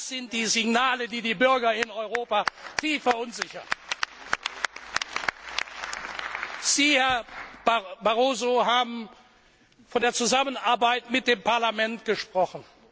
Das sind die Signale, die die Bürger in Europa tief verunsichern. Sie, Herr Barroso, haben von der Zusammenarbeit mit dem Parlament gesprochen.